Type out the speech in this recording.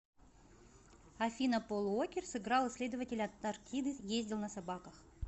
афина пол уокер сыграл исследователя антарктиды ездил на собаках